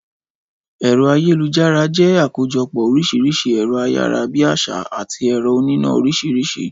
Ẹ̀rọ ayélujára jẹ́ àkójọpọ́ oríṣiríṣi ẹ̀rọ ayára-bí-àṣá àti ẹ̀rọ oníná oríṣiríṣi